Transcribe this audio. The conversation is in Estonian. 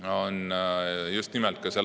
See on just nimelt see …